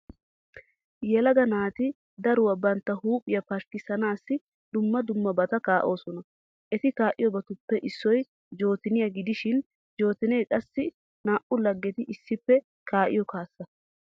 Yelaga naati daruwa bantta huuphiya pashkkissanaassi dumma dummabata kaa'oosona. Eti kaa'iyobatuppe issoy jootoniya gidishin jootonee qassi naa"u laggeti issippe kaa'iyo kaassa.